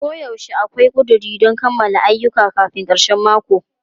Koyaushe akwai ƙuduri don kammala ayyuka kafin karshen mako.